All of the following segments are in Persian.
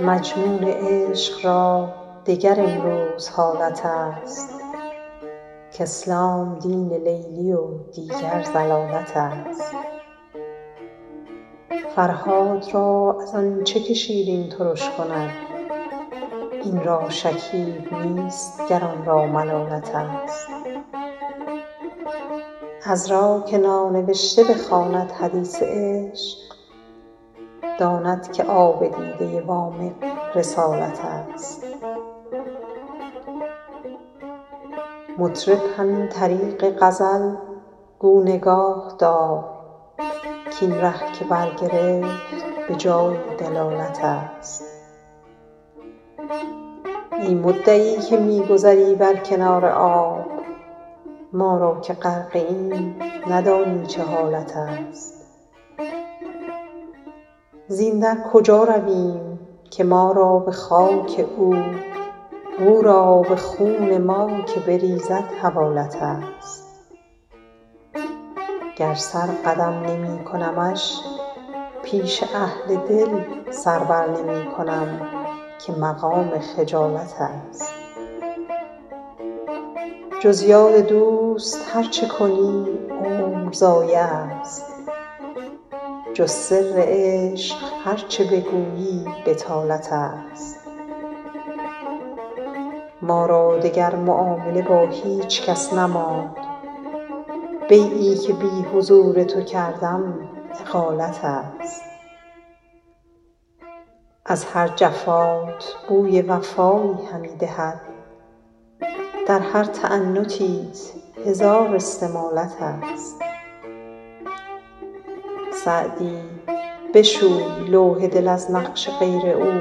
مجنون عشق را دگر امروز حالت است کاسلام دین لیلی و دیگر ضلالت است فرهاد را از آن چه که شیرین ترش کند این را شکیب نیست گر آن را ملالت است عذرا که نانوشته بخواند حدیث عشق داند که آب دیده وامق رسالت است مطرب همین طریق غزل گو نگاه دار کاین ره که برگرفت به جایی دلالت است ای مدعی که می گذری بر کنار آب ما را که غرقه ایم ندانی چه حالت است زین در کجا رویم که ما را به خاک او و او را به خون ما که بریزد حوالت است گر سر قدم نمی کنمش پیش اهل دل سر بر نمی کنم که مقام خجالت است جز یاد دوست هر چه کنی عمر ضایع است جز سر عشق هر چه بگویی بطالت است ما را دگر معامله با هیچ کس نماند بیعی که بی حضور تو کردم اقالت است از هر جفات بوی وفایی همی دهد در هر تعنتیت هزار استمالت است سعدی بشوی لوح دل از نقش غیر او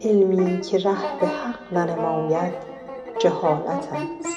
علمی که ره به حق ننماید جهالت است